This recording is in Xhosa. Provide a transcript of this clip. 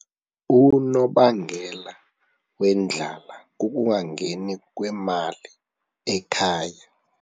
Unobangela wendlala kukungangeni kwemali ekhaya.